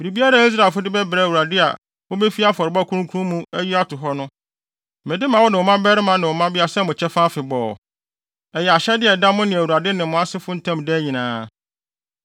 Biribiara a Israelfo de bɛbrɛ Awurade a wobefi afɔrebɔ kronkron mu ayi ato hɔ no, mede ma wo ne wo mmabarima ne wo mmabea sɛ mo kyɛfa afebɔɔ. Ɛyɛ ahyɛde a ɛda mo ne Awurade ne mo asefo ntam daa nyinaa.”